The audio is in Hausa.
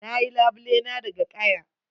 Na yi labule na daga kaya.